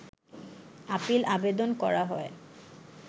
appeal আবেদন করা হয়